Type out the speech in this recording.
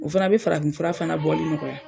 U fana be farafin fura fana bɔli nɔgɔya.